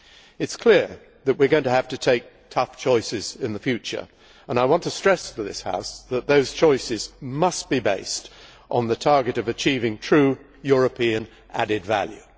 It is clear that we are going to have to take tough choices in the future, and I want to stress to this House that those choices must be based on the target of achieving true, European added value.